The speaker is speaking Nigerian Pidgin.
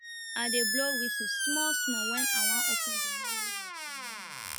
i dey blow whisle small small wen i wan open the